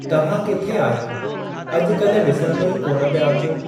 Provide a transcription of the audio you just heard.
तव्हां किथे आहियो अॼ काल्हि डि॒सणु में ई कोन पिया अचो।